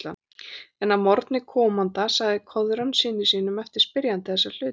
En að morgni komanda sagði Koðrán syni sínum eftir spyrjanda þessa alla hluti.